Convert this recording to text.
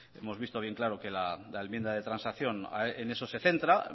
hemos visto bien claro que la enmienda de transacción en eso se centra